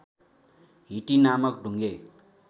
हिटी नामक ढुङ्गे